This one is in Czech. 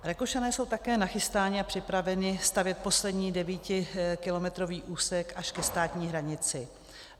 Rakušané jsou také nachystáni a připraveni stavět poslední devítikilometrový úsek až ke státní hranici.